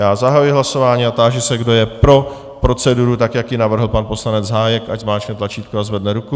Já zahajuji hlasování a táži se, kdo je pro proceduru, tak jak ji navrhl pan poslanec Hájek, ať zmáčkne tlačítko a zvedne ruku.